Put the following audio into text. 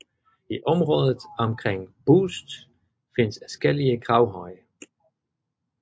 I området omkring Boest findes adskillige gravhøje